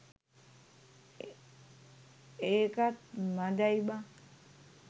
ඒකත් මදැයි බං.